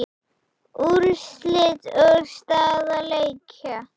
Úrslit og staða leikja